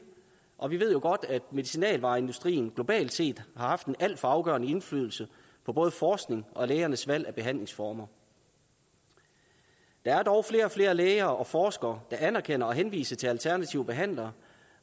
og vi ved jo godt at medicinalvareindustrien globalt set har haft en alt for afgørende indflydelse på både forskningen og lægernes valg af behandlingsformer der er dog flere og flere læger og forskere der anerkender og henviser til alternative behandlere